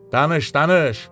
Danış, danış.